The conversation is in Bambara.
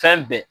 Fɛn bɛɛ